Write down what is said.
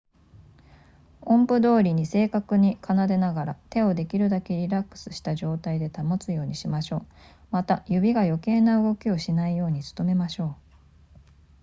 音符どおりに正確に奏でながら手をできるだけリラックスした状態で保つようにしましょうまた指が余計な動きをしないように努めましょう